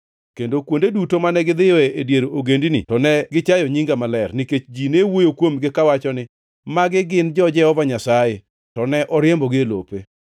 Kendo kuonde duto mane gidhiyoe e dier ogendini to ne gichayo nyinga maler, nikech ji ne wuoyo kuomgi kawacho ni, ‘Magi gin jo-Jehova Nyasaye, to ne oriembogi e lope.’